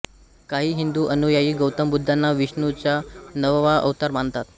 काही हिंदू अनुयायी गौतम बुद्धांना विष्णूचा नववा अवतार मानतात